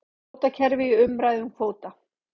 Kvótakerfi í umræðum um kvóta